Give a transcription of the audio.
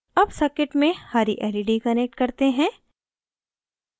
अब circuit में हरी led connect करते हैं